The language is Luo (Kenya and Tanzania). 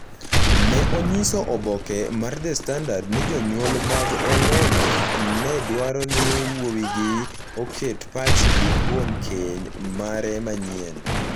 ne onyiso oboke mar The Standard ni jonyuol mag Ongong’a ne dwaro ni wuowigi oket pachgi kuom keny mare manyien.